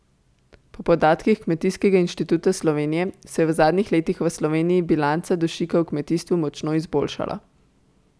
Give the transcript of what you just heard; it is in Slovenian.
Po podatkih Kmetijskega inštituta Slovenije se je v zadnjih letih v Sloveniji bilanca dušika v kmetijstvu močno izboljšala.